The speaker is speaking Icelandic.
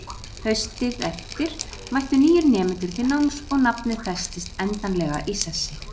Haustið eftir mættu nýir nemendur til náms og nafnið festist endanlega í sessi.